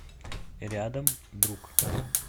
рядом друг